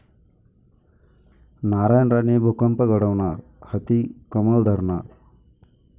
नारायण राणे भूकंप घडवणार, हाती 'कमळ' धरणार?